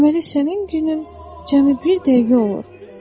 Deməli sənin günün cəmi bir dəqiqə olur.